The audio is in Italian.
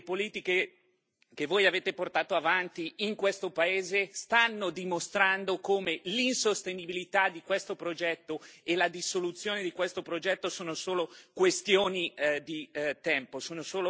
Le politiche che voi avete portato avanti in questo paese stanno dimostrando come l'insostenibilità di questo progetto e la dissoluzione di questo progetto sono solo questioni di tempo.